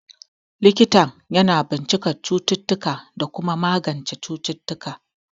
Likitan yana bincikar cututtuka da kuma magance cututtuka.